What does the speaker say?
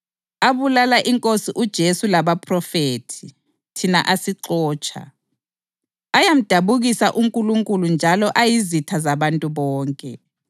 abulala iNkosi uJesu labaphrofethi, thina asixotsha. Ayamdabukisa uNkulunkulu njalo ayizitha zabantu bonke